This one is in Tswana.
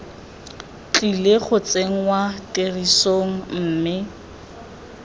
tlile go tsenngwa tirisong mme